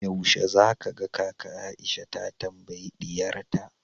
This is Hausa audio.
yaushe zaka ga kaka Aisha ta tambayi diyarta